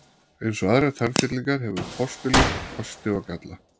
Eins og aðrar tannfyllingar hefur postulín kosti og galla.